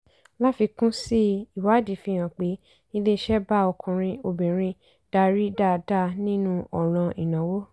láfikún sí i ìwádìí fi hàn pé iléeṣẹ́ bá ọkùnrin obìnrin darí dáadáa nínú ọ̀ràn ìnáwó.